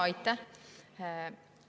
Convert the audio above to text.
Aitäh!